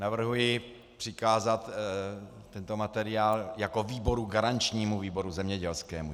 Navrhuji přikázat tento materiál jako výboru garančnímu výboru zemědělskému.